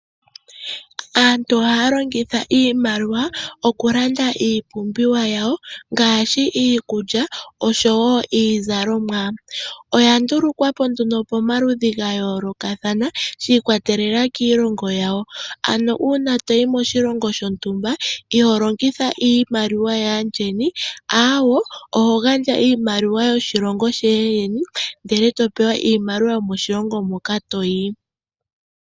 Aantu ohaya longitha iimaliwa oku landa iipumbiwa yawo ngashi iikulya oshowo iizalomwa. Oya ndulukwapo nduno pomaludhi ga yolokathana shi ikwa telela kiilongo yawo. Ano una toyi moshilongo shontumba iho longitha iimaliwa ya yeni awo, oho gandja iimaliwa woshilongo shayeni ndele topewa iimaliwa yomoshilongo moka toyi.